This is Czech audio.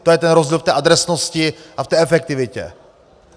To je ten rozdíl v té adresnosti a v té efektivitě.